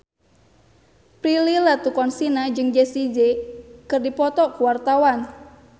Prilly Latuconsina jeung Jessie J keur dipoto ku wartawan